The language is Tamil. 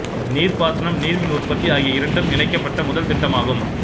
இது நீர் பாசனம் நீர் மின் உற்பத்தி ஆகிய இரண்டும் இணைக்கப்பட்ட முதல் திட்டமாகும்